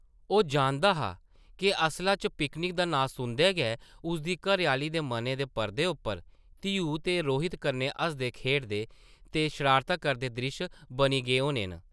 ओह् जानदा हा के असला च पिकनिक दा नांऽ सुनदे गै उसदी घरै-आह्ली दे मनै दे पर्दे उप्पर धीऊ दे रोहित कन्नै हसदे-खेढदे ते शरारतां करदे द्रिश्श बनी गे होने न ।